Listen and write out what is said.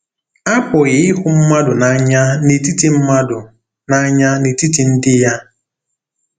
Apụghị ịhụ mmadụ n'anya n'etiti mmadụ n'anya n'etiti ndị ya.